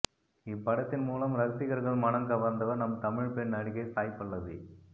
இப்படத்தின் மூலம் ரசிகர்கள் மனம் கவந்தவர் நம் தமிழ் பெண் நடிகை சாய் பல்லவி